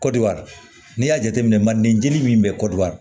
Kɔdiwari n'i y'a jateminɛ mandejeli min bɛ kɔdiwari